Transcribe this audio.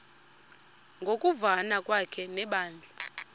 ngokuvana kwakhe nebandla